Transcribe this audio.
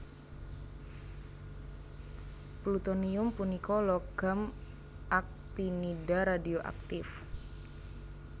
Plutonium punika logam aktinida radioaktif